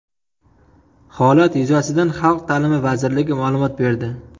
Holat yuzasidan Xalq ta’limi vazirligi ma’lumot berdi .